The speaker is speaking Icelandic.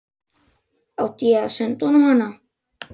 Átti ég að senda honum hana?